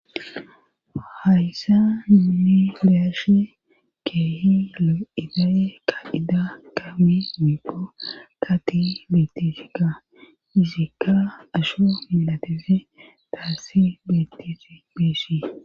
hayssa imilashe keehi ida7e ka ida ka wi mipo ka ti betisika izikka asho milateze taassi betisi bissi